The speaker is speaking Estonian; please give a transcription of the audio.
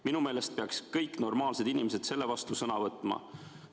Minu meelest peaks kõik normaalsed inimesed selle vastu sõna võtma.